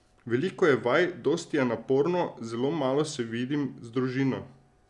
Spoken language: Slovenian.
Veliko je vaj, dosti je naporno, zelo malo se vidim z družino.